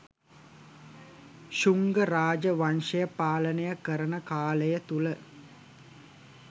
ශුංග රාජ වංශය පාලනය කරන කාලය තුළ